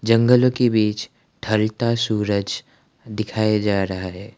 जंगलो के बीच ढलता सूरज दिखाया जा रहा है।